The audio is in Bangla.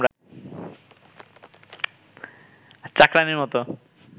চাকরানীর মতো